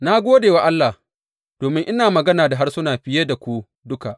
Na gode wa Allah, domin ina magana da harsuna fiye da ku duka.